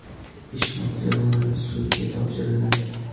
Ish materiallari sudga topshiriladi.